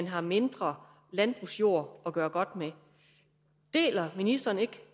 har mindre landbrugsjord at gøre godt med deler ministeren ikke